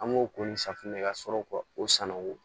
An b'o ko ni safunɛ ka sɔrɔ ka o san nago